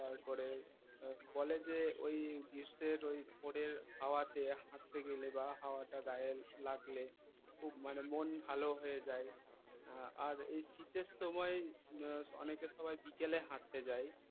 কলেজে ওই গ্রীষ্মের ওই ভোরের হাওয়াতে হাটতে গেলে বা হওয়াটা গায়ে লাগলে খুব মানে মন ভাল হয়ে যায় আর এই শীতের সময় অনেকে সবাই বিকেলে হাটতে যায়